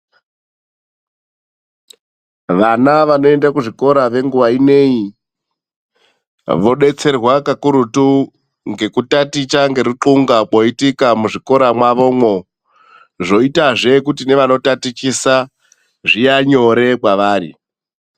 Vana vanoende kuzvikora venguwa ineyi, vodetserwa kakurutu ngekutaticha ngeruxunga kwoitika muzvikora mwavomwo. Zvoitazve kuti nevanotatichisa zvia nyore kwevari.